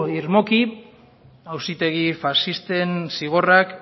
irmoki auzategi faxisten zigorrak